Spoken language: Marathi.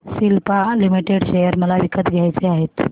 सिप्ला लिमिटेड शेअर मला विकत घ्यायचे आहेत